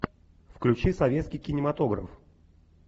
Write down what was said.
включи советский кинематограф